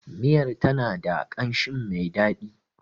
Miyar ta na da ƙamshin mai dadi.